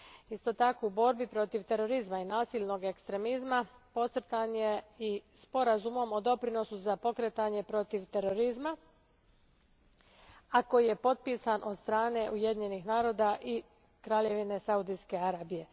Isto tako borba protiv terorizma i nasilnog ekstremizma podcrtana je i sporazumom o doprinosu za pokretanje protiv terorizma, a koji je potpisan od strane Ujedinjenih naroda i Kraljevine Saudijske Arabije.